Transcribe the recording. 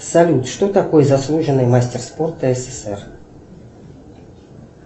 салют что такое заслуженный мастер спорта ссср